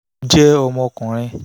jẹ́ ọmọkùnrin